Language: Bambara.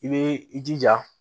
I bɛ i jija